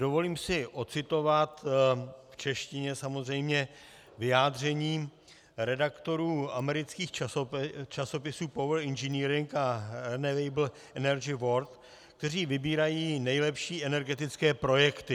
Dovolím si ocitovat - v češtině samozřejmě - vyjádření redaktorů amerických časopisů Power Engineering a Renewable Energy World, kteří vybírají nejlepší energetické projekty.